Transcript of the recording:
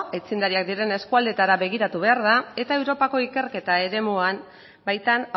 aitzindariak diren eskualdeetara begiratu behar da eta europako ikerketa eremuan baitan